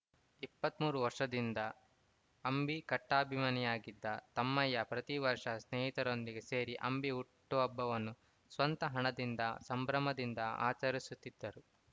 ಇಪ್ಪತ್ತ್ ಮೂರು ವರ್ಷದಿಂದ ಅಂಬಿ ಕಟ್ಟಾಅಭಿಮಾನಿಯಾಗಿದ್ದ ತಮ್ಮಯ್ಯ ಪ್ರತಿ ವರ್ಷ ಸ್ನೇಹಿತರೊಂದಿಗೆ ಸೇರಿ ಅಂಬಿ ಹುಟ್ಟುಹಬ್ಬವನ್ನು ಸ್ವಂತ ಹಣದಿಂದ ಸಂಭ್ರಮದಿಂದ ಆಚರಿಸುತ್ತಿದ್ದರು